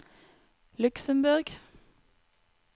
Luxemborg